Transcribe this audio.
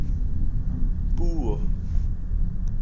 puo